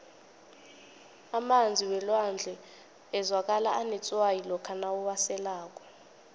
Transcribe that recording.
emanzi welwandle azwakala anetswayi lokha uwaselako